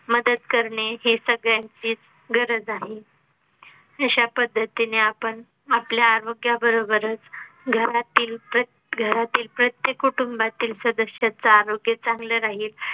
मदत करणे हे सगळ्यांचीच गरज आहे अशा पद्धतीने आपण आपल्या आरोग्याबरोबरच घरातील प्रत्य घरातील प्रत्येक कुटुंबातील सदस्याच आरोग्य चांगल राहील